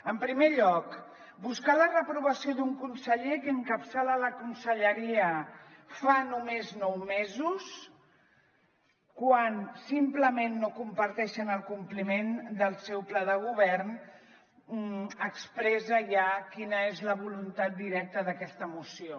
en primer lloc buscar la reprovació d’un conseller que en·capçala la conselleria fa només nou mesos quan simplement no comparteixen el compliment del seu pla de govern expressa ja quina és la voluntat directa d’aquesta moció